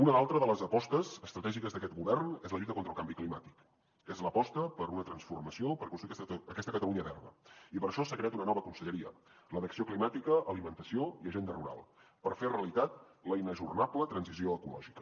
una altra de les apostes estratègiques d’aquest govern és la lluita contra el canvi climàtic és l’aposta per una transformació per aconseguir aquesta catalunya verda i per això s’ha creat una nova conselleria la d’acció climàtica alimentació i agenda rural per fer realitat la inajornable transició ecològica